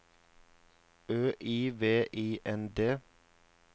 Ø I V I N D